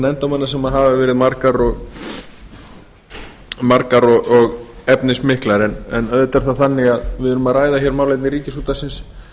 nefndarmanna sem hafa verið margar og efnismiklar en auðvitað er það þannig að við erum að ræða málefni ríkisútvarpsins